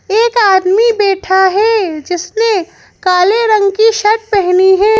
एक आदमी बैठा है जिसने काले रंग के शर्ट पहने हैं।